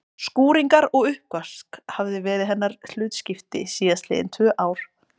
Skúringar og uppvask hafði verið hennar hlutskipti síðast liðin tvö ár.